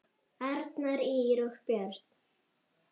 Arnar, Ýr og börn.